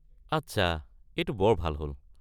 আচ্ছা, এইটো বৰ ভাল হ'ল।